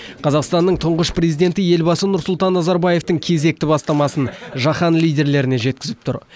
қазақстанның тұңғыш президенті елбасы нұрсұлтан назарбаевтың кезекті бастамасын жаһан лидерлеріне жеткізіп тұр